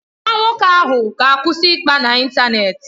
Nwa nwoke ahụ ga-akwụsị ịkpa n'ịntanetị.